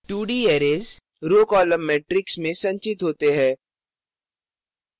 2d arrays row column matrix में संचित होते है